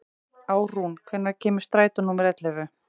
Árún, hvenær kemur strætó númer ellefu?